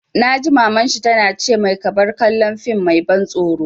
Na ji Maman shi ta na ce mai 'Ka bar kallon fim mai ban tsoro'!